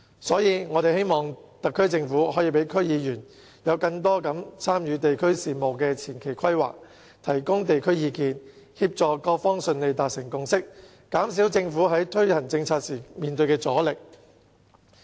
所以，我們希望特區政府可以讓區議員更多參與地區事務的前期規劃，提供有關地區的意見，協助各方順利達成共識，減少政府在推行政策時面對的阻力。